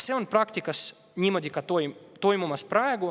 Praktikas see praegu niimoodi toimubki.